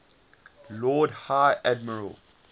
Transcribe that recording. lord high admiral